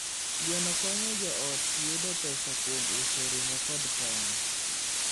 Gweno konyo joot yudo pesa kuom uso ring'o kod tong'.